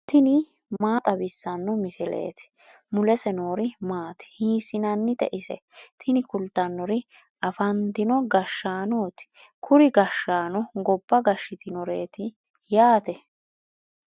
tini maa xawissanno misileeti ? mulese noori maati ? hiissinannite ise ? tini kultannori afantino gashshaanooti. kuri gashshaano gobba gashshitinoreeti yaate.